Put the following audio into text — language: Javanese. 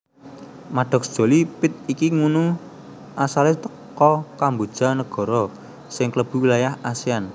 Maddox Jolie Pitt iki ngunu asale teko Kamboja negoro sing klebu wilayahe Asean